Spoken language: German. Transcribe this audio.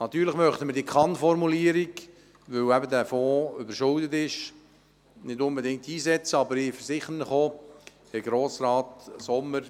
Diese Kann-Formulierung möchten wir, weil der Fonds überschuldet ist, nicht unbedingt einsetzen, aber ich versichere Ihnen, Herr Grossrat Sommer: